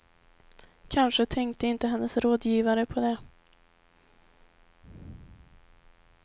Kanske tänkte inte hennes rådgivare på det.